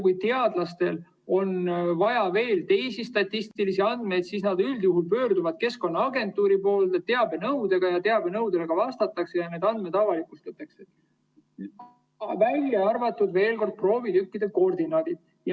Kui teadlastel on vaja veel teisi statistilisi andmeid, siis nad üldjuhul pöörduvad Keskkonnaagentuuri poole teabenõudega, teabenõudele vastatakse ja need andmed avalikustatakse, välja arvatud, veel kord, proovitükkide koordinaadid.